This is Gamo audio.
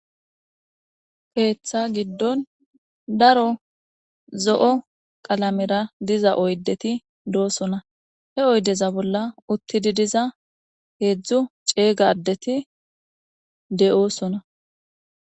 Ketha gidon daro zo'o qalamera diza oydeti dosona he oydeza bola utidi diza hezdu c'ega adeti de'osona.